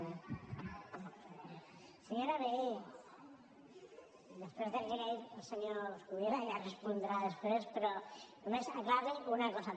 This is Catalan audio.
senyora vehí després del que li ha dit el senyor coscubiela ja respondrà després però només aclarir li una cosa